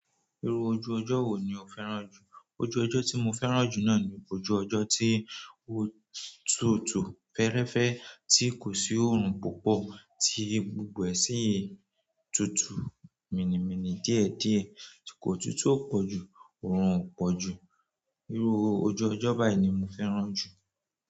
Iru ojú ojo wo ni o fẹ́ràn ju? Ojú ọjọ́ tí mo fẹ́ràn jù náà ni ojú ọjọ́ tí ò tútù, fẹ́ẹ́rẹ́fẹ́, tí kò sí oòrùn púpọ̀, tí gbogbo ẹ̀ sì tútù, míni míni, díẹ̀ díẹ̀ tí kòtútù o pọ̀ jù, oòrùn o pọ̀ jù. Irú ojú ọjọ́ báyìí ni mo fẹ́ràn jù.